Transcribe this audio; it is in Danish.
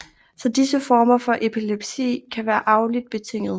Så disse former for epilepsi kan være arveligt betinget